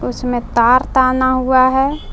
इसमे तार ताना हुआ है।